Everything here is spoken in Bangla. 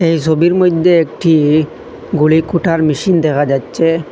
এই ছবির মধ্যে একটি গুড়ি কুটার মেশিন দেখা যাচ্ছে।